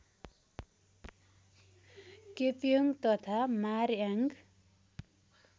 Kepong तथा मारयान्ग